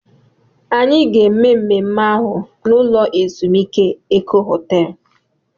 Anyị ga-eme mmemme ahụ n'ụlọ ezumike Eko Họtel